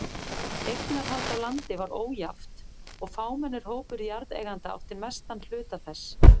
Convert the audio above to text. Eignarhald á landi var ójafnt og fámennur hópur jarðeigenda átti mestan hluta þess.